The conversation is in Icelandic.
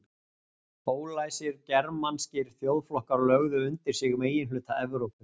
Ólæsir germanskir þjóðflokkar lögðu undir sig meginhluta Evrópu.